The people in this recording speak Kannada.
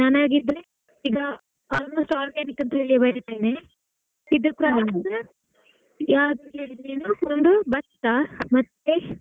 ನಾನ್ ಹಾಗಿದ್ರೆ ಈಗ almost organic ಅಂತಾ ಬರಿತೇನೆ ಭತ್ತ ಮತ್ತೆ.